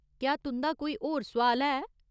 क्या तुं'दा कोई होर सोआल है?